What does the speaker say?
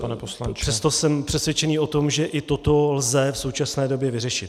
Přesto jsem přesvědčený o tom, že i toto lze v současné době vyřešit.